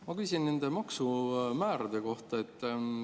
Ma küsin maksumäärade kohta.